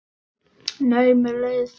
Nei, mér leiðist ekki.